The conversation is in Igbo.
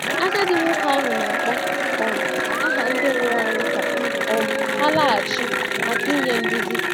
Agadi nwoke ahụ na-akpọ um aha ndị nwụrụ anwụ ka um ha laghachi màkà inye nduzi.